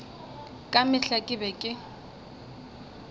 ka mehla ke be ke